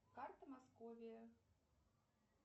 карта московия